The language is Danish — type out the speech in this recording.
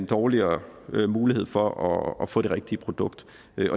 dårligere mulighed for at få det rigtige produkt